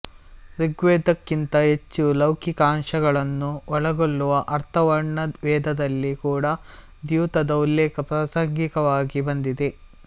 ಋಗ್ವೇದಕ್ಕಿಂತ ಹೆಚ್ಚು ಲೌಕಿಕಾಂಶಗಳನ್ನು ಒಳಗೊಳ್ಳುವ ಅಥರ್ವಣವೇದದಲ್ಲಿ ಕೂಡ ದ್ಯೂತದ ಉಲ್ಲೇಖ ಪ್ರಾಸಂಗಿಕವಾಗಿ ಬಂದಿದೆ